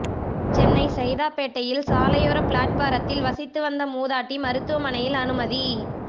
சென்னை சைதாப்பேட்டையில் சாலையோர பிளாட்பாரத்தில் வசித்து வந்த மூதாட்டி மருத்துவமனையில் அனுமதி